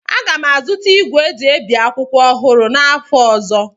Aga m azụta igwe eji ebi akwụkwọ ọhụrụ n'afọ ọzọ